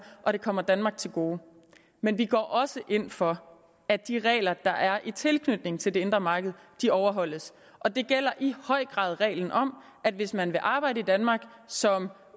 og det kommer danmark til gode men vi går også ind for at de regler der er i tilknytning til det indre marked overholdes og det gælder i høj grad reglen om at hvis man vil arbejde i danmark som